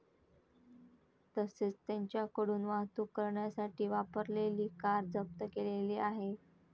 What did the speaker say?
तसेच त्यांच्याकडून वाहतूक करण्यासाठी वापरलेली कार जप्त केलेली आहे.